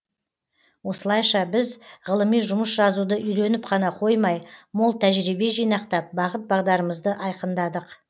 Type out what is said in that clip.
осылайша біз ғылыми жұмыс жазуды үйреніп қана қоймай мол тәжірибе жинақтап бағыт бағдарымызды айқындадық